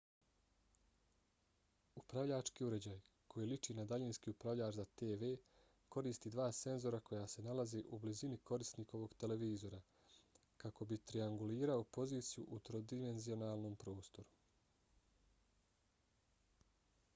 upravljački uređaj koji liči na daljinski upravljač za tv koristi dva senzora koja se nalaze u blizini korisnikovog televizora kako bi triangulirao poziciju u trodimenzionalnom prostoru